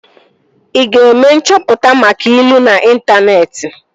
Ị ga-eme nchọpụta maka ilu n'intaneeti?